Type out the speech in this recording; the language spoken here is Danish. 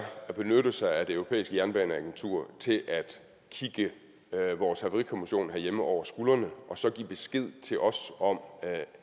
at benytte sig af det europæiske jernbaneagentur til at kigge hele vores havarikommissionen herhjemme over skulderen og så give besked til os om